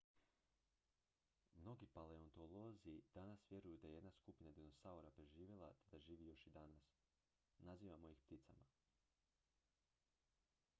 mnogi paleontolozi danas vjeruju da je jedna skupina dinosaura preživjela te da živi još i danas nazivamo ih pticama